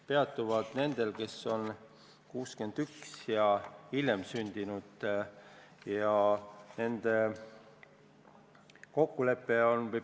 Peatub nendel, kes on sündinud 1961 ja hiljem.